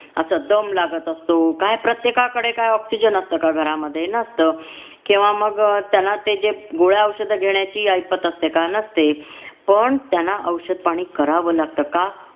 असा दम लागत असतो काय प्रत्येकाकडे काय oxygen असत का घरामध्ये नसत केव्हा मग अं त्यांना ते जे गोळ्या औषध घेण्याची ऐपत असते का नसते पण त्यांना औषधपाणी करावं लागत का